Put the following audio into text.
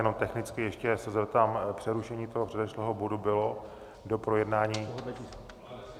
Jenom technicky ještě se zeptám - přerušení toho předešlého bodu bylo do projednání...